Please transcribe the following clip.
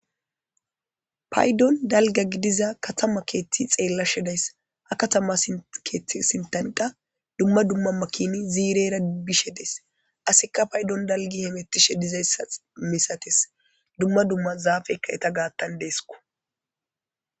Payidon dalga gidiza katama keththi xelashshe ha katama keththi sintan dalga dumma dumma makini zirera bishe des asikka payidon dalgi hemetishshe dizayissa misates dumma dumma zafeyikka eeta gaththan deskko